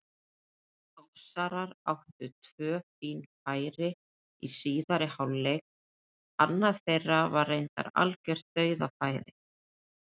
Þórsarar áttu tvö fín færi í síðari hálfleik, annað þeirra var reyndar algjört dauðafæri.